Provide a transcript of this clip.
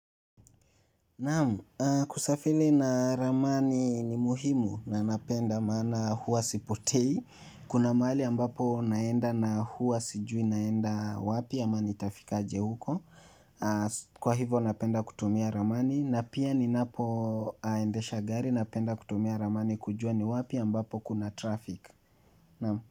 Naam, kusafiri na ramani ni muhimu na napenda maana huwa sipotei. Kuna mahali ambapo naenda na huwa sijui naenda wapi ama nitafikaje huko. Kwa hivo napenda kutumia ramani na pia ni napo endesha gari napenda kutumia ramani kujua ni wapi ambapo kuna traffic. Naam.